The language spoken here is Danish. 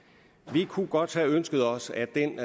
vi kunne godt have ønsket os at den